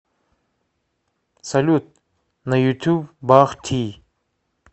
салют на ютуб бах ти